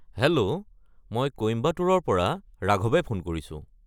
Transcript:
Hello, মই কোইম্বাটুৰৰ পৰা ৰাঘৱে ফোন কৰিছো।